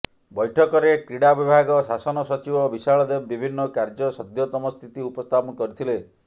ବୈଠକରେ କ୍ରୀଡ଼ା ବିଭାଗ ଶାସନ ସଚିବ ବିଶାଳ ଦେବ ବିଭିନ୍ନ କାର୍ଯ୍ୟ ସଦ୍ୟତମ ସ୍ଥିତି ଉପସ୍ଥାପନ କରିଥିଲେ